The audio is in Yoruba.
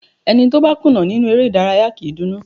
Ẹni tó bá kùnà nínú eré ìdárayá kì í dunnú.